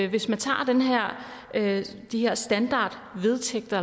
hvis man tager de her standardvedtægter